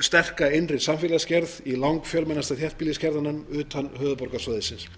sterka innri samfélagsgerð í langfjölmennasta þéttbýliskjarnanum utan höfuðborgarsvæðisins